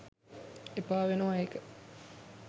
එපා වෙනවා ඒක